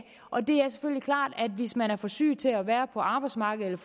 hvis man er for syg til at være på arbejdsmarkedet